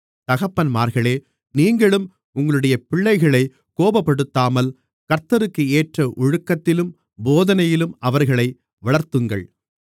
தகப்பன்மார்களே நீங்களும் உங்களுடைய பிள்ளைகளைக் கோபப்படுத்தாமல் கர்த்தருக்கேற்ற ஒழுக்கத்திலும் போதனையிலும் அவர்களை வளர்த்துங்கள்